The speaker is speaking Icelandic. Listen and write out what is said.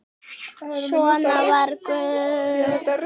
Svona var Guðrún.